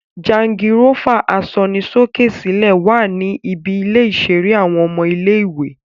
Jangirófà asọnisókè-sílẹ̀ wá ní ibi ilè iṣere àwọn ọmọ ilé-ìwé